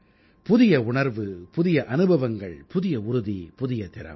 புதிய உணர்வு புதிய அனுபவங்கள் புதிய உறுதி புதிய திறம்